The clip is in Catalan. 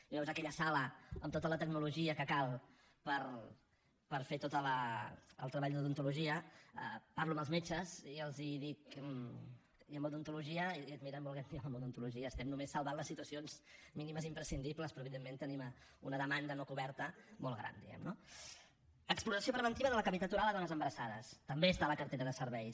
i veus aquella sala amb tota la tecnologia que cal per fer tot el treball d’odontologia parlo amb els metges i els dic i en odontologia i et miren volent dir home en odontologia estem només salvant les situacions mínimes imprescindibles però evidentment tenim una demanda no coberta molt gran diguem ne no exploració preventiva de la cavitat oral a dones embarassades també està a la cartera de serveis